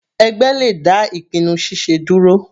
Ẹgbẹ́ le dá ìpinnu ṣiṣe dúró.